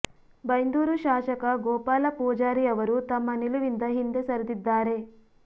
ಬೈಂದೂರು ಶಾಸಕ ಗೋಪಾಲ ಪೂಜಾರಿ ಅವರೂ ತಮ್ಮ ನಿಲುವಿಂದ ಹಿಂದೆ ಸರಿದಿದ್ದಾರೆ